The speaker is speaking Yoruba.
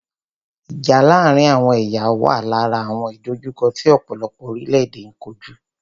Ìjà láàárín àwọn ẹ̀yà wà lára àwọn ìdòjukọ́ tí ọ̀pọ̀lọpọ̀ orílẹ̀-èdè n kojú.